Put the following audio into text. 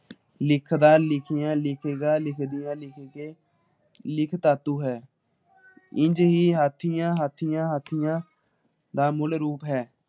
ਲਿਖਦਾ ਲਿਖਿਆ ਲਿਖੇਗਾ ਲਿਖਦਿਆਂ ਲਿਖ ਕੇ ਲਿਖ ਤਾਤੂ ਹੈ ਇੰਜ ਹੀ ਹਾਥੀਆਂ ਹਾਥੀਆਂ ਹਾਥੀਆਂ ਦਾ ਮੁੱਲ ਰੂਪ ਹੈ ।